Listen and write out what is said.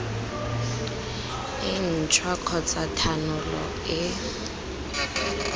e ntšhwa kgotsa thanolo e